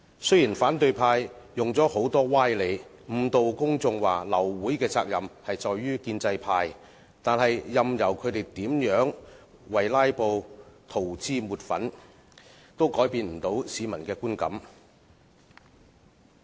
雖然反對派用很多歪理誤導公眾，指流會的責任在於建制派，但任由他們如何為"拉布"塗脂抹粉，也改變不到市民的觀感。